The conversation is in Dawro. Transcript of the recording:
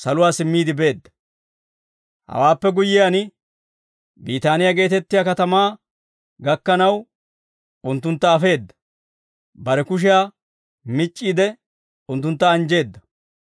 Hawaappe guyyiyaan, Biitaaniyaa geetettiyaa katamaa gakkanaw, unttuntta afeedda; bare kushiyaa mic'c'iide unttuntta anjjeedda.